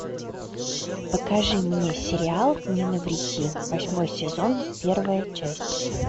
покажи мне сериал не навреди восьмой сезон первая часть